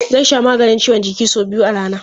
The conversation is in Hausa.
Zai sha maganin ciwon jiki sau biyu a rana.